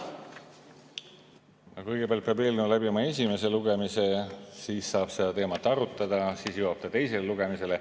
Kõigepealt peab eelnõu läbima esimese lugemise, siis saab seda teemat arutada, siis jõuab ta teisele lugemisele.